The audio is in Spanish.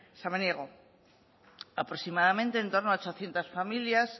samaniego aproximadamente en torno a ochocientos familias